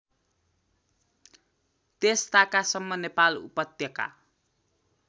त्यसताकासम्म नेपाल उपत्यका